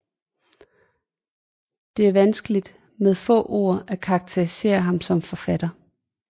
Det er vanskeligt med få ord at karakterisere ham som forfatter